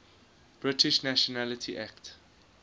british nationality act